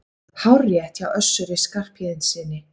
Hárrétt hjá Össuri Skarphéðinssyni!